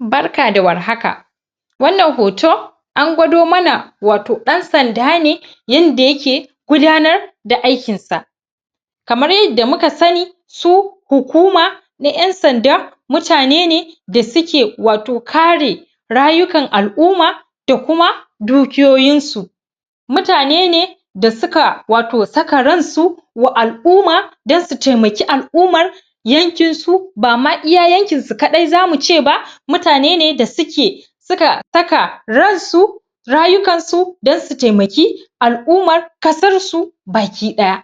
Barka da warhaka! wannan hoto an gwado mana wato ɗan sanda ne yanda yake gudanar da aikin sa kamar yanda muka sanni su hukuma na ƴan sanda mutane ne da suke wato kare rayukan al'umma da kuma dukiyoyin su mutane ne da suka wato saka ransa wa al- uma dan su taimaki al'umar yankin su bama iya yankin su kaɗai zamu ce ba mutane ne da suke suka saka ransu rayukan su don su taimaki al'umar kasar su baki ɗaya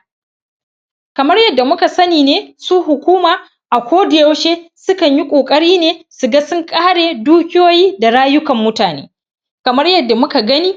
kamar yanda muka sanni ne su hukuma a koda yaushe su kanyi ƙoƙari ne su ga sun ƙare dukiyoyi da rayukan mutane kamar yanda muka gani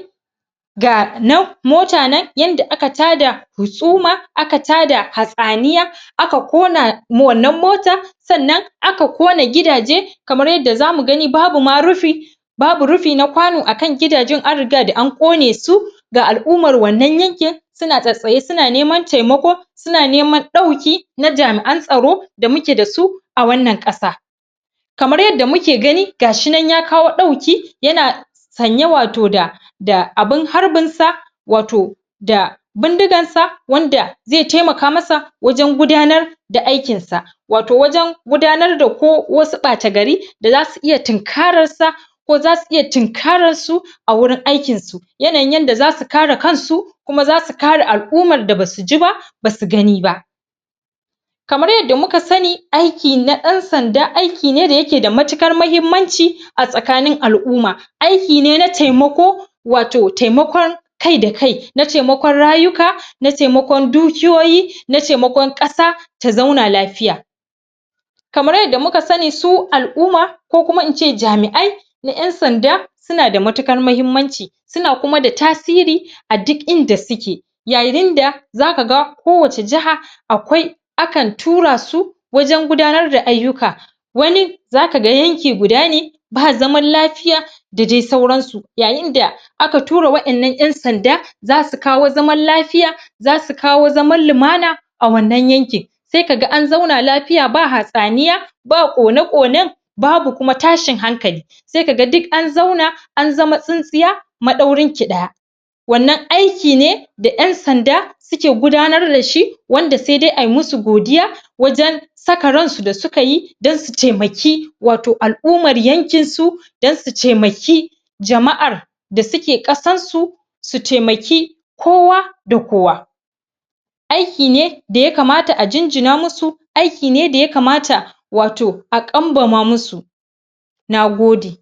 ga mota nan yanda aka tada hukuma aka tada hatsaniya aka ƙona ma wannan mota sannan aka kona gidaje kamar yadda zamu gani babu ma rufi babu rufi na kwano akan gidajen an riga da an ƙone su ga al'umar wannan yankin suna tsatstsaye suna neman taimako suna neman ɗauki na jami'an tsaro da muke dasu a wannan ƙasa kamar yadda muke gani gashi nan ya kawo ɗauki yana sanye wato da da abun harbin sa wato da bindigan sa wanda zai taimaka masa wajen gudanar da aikin sa wato wajen gudanar da ko wasu ɓata gari da zasu iya tinkarar sa ko zasu iya tinkararsu a wurin aikin su yanayin yanda zasu kare kansu kuma zasu kare al'umar da basu ji ba basu gani ba kamar yanda muka sanni aiki na ɗan sanda aiki ne da yake da matuƙar mahimmanci a tsakanin al'uma aiki ne na taimako wato taimakon kai da kai na taimakon rayuka na taimakon dukiyoyi na cemakon ƙasa ta zauna lafiya kamar yanda muka sanni su al'umma ko kuma ince jami'ai na ƴan sanda suna da matuƙar mahimmanci suna kuma da tasiri a dik inda suke yayin da zaka ga ko wace jaha akwai akan tura su wajen gudanar da ayyuka wani zaka ga yanki guda ne ba zaman lafiya da dai sauran su yayin da aka tura wa'innan ƴan sanda zasu kawo zaman lafiya zasu kawo zaman lumana a wannan yankin sai kaga an zauna lafiya ba hatsaniya ba ƙona-ƙonen babu kuma tashin hankali sai kaga dik an zauna an zama tsintsiya ma ɗaurinki ɗaya wannan aiki ne da ƴan sanda suke gudanar dashi wanda sai dai ai musu godiya wajen saka ransu da suka yi dan su taimaki wato al'ummar yankin su dan su cemaki jama'ar da suke ƙasar su su taimaki kowa da kowa aiki ne da ya kamata a jinjina musu aiki ne da ya kamata wato a ƙambama musu Nagode!